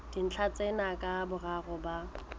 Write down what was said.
dintlha tsena ka boraro ba